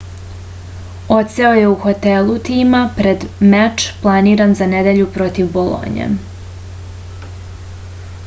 odseo je u hotelu tima pred meč planiran za nedelju protiv bolonje